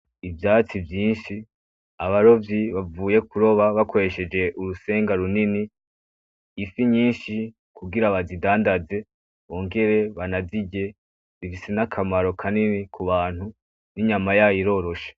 Ivyatsi vyinshi, abarovyi bavuye kuroba bakoresheje urusenga runini ifi nyinshi, kugira bazidandaze bongere banazirye, bifise n'akamaro kanini ku bantu n'inyama yayo iroroshe.